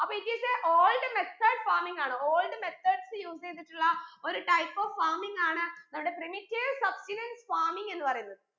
അപ്പൊ it is a old method farming ആണ് old methods use എയ്തിട്ടുള്ള ഒരു type of farming ആണ് നമ്മുടെ primitive substenance farming എന്ന് പറയുന്നത്